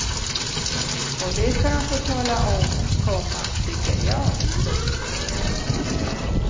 Och det ska de få tala om, komma tycker jag. punkt